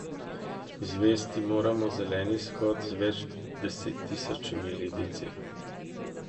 Izvesti moramo zeleni shod z več desettisočimi Libijci.